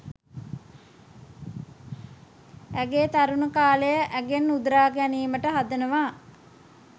ඇගේ තරුණ කාලය ඇගෙන් උදුරා ගැනීමට හදනවා.